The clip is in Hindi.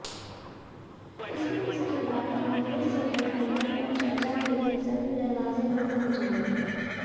इसमें इसके बाद कांग्रेस से गठबंधन पर चर्चा के लिए सभी दरवाजें बंद हो जाएंगे